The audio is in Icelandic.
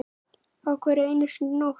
Á hverri einustu nóttu.